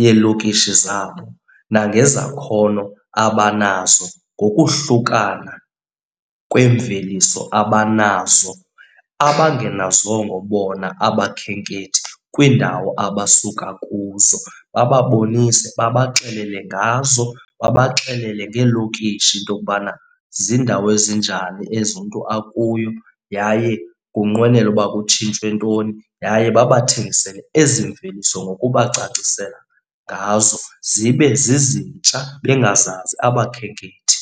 yeelokishi zabo nangezakhono abanazo ngokuhlukana kweemveliso abanazo abangenazongo bona abakhenkethi kwiindawo abasuka kuzo. Bababonise, babaxelele ngazo, babaxelele ngeelokishi into yokubana ziindawo ezinjani ezi umntu akuyo yaye unqwenela uba kutshintshwe ntoni. Yaye babathengisele ezi mveliso ngokubacacisela ngazo zibe zizintsha bengazazi abakhenkethi.